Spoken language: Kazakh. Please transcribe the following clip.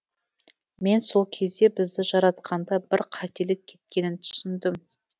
мен сол кезде бізді жаратқанда бір қателік кеткенін түсіндім